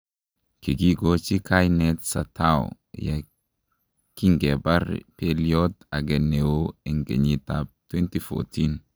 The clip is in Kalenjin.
kikigochi kainet Satao ye kingebar pelyot age neoo en kenyit ab 2014